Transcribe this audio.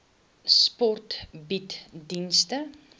sport bied dienste